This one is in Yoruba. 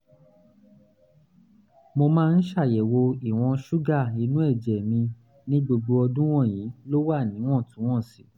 mo máa ń ṣàyẹ̀wò ìwọ̀n ṣúgà inú ẹ̀jẹ̀ mi ní gbogbo ọdún wọ̀nyí ló wà níwọ̀ntúnwọ̀nsì